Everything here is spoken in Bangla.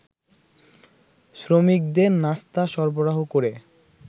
শ্রমিকদের নাস্তা সরবরাহ করে